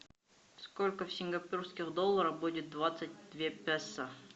сколько в сингапурских долларах будет двадцать две песо